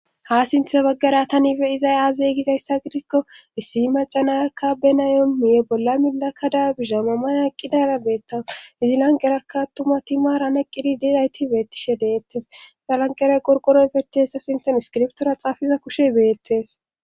ha sinthe baggara tanife izay aazeygizayssa gidikko issi macanayakka benayomuye bolla milakada bisha mamaya qqidara beetta izilanqeraka attuma ti maaran eqqidi dilayti beettishe deettes zalanqera qorqoro beti hessa sinthen iskiriptora xaafiza kushe beettes